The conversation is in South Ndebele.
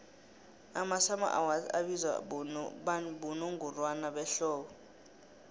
amasummer awards abizwa bonongorwana behlobo